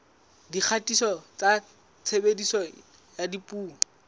dikgatiso tsa tshebediso ya dipuo